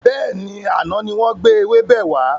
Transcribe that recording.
Bẹ́ẹ̀ni, àná ni wọn gbé ewébẹ̀ wà.